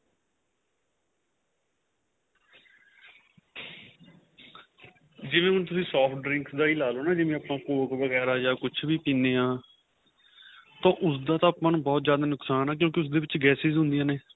ਜਿਵੇਂ ਹੁਣ ਤੁਸੀਂ cold drink ਦਾ ਹੀ ਲਾਲੋ ਜਿਵੇਂ ਆਪਾਂ cock ਵਗੇਰਾ ਕੁੱਛ ਵਿ ਪੀਣੇ ਆਂ ਤਾਂ ਉਸ ਦਾ ਤਾਂ ਆਪਾਂ ਨੂੰ ਬਹੁਤ ਜਿਆਦਾ ਨੁਕਸ਼ਾਨ ਏ ਕਿਉਂਕਿ ਉਸ ਦੇ ਵਿੱਚ gases ਹੁੰਦੀਆਂ ਨੇ